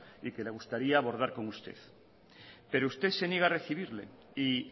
y que le gustaría abordar con usted pero usted se niega a recibirle y